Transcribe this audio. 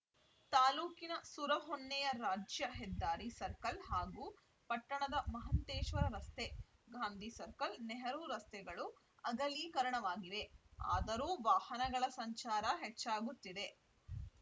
ತಾಲೂಕಿನ ಸುರಹೊನ್ನೆಯ ರಾಜ್ಯ ಹೆದ್ದಾರಿ ಸರ್ಕಲ್‌ ಹಾಗೂ ಪಟ್ಟಣದ ಮಹಂತೇಶ್ವರ ರಸ್ತೆ ಗಾಂಧಿಸರ್ಕಲ್‌ ನೆಹರೂ ರಸ್ತೆಗಳು ಅಗಲೀಕರಣವಾಗಿವೆ ಆದರೂ ವಾಹನಗಳ ಸಂಚಾರ ಹೆಚ್ಚಾಗುತ್ತಿದೆ